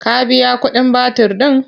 Ka biya kuɗin batir ɗin?